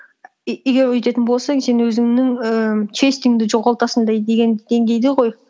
егер өйтетін болсаң сен өзіңнің ііі честіңді жоғалтасың деген деңгейде ғой